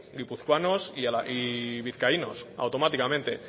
guipuzcoanos y vizcaínos automáticamente